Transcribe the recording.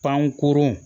Pankurun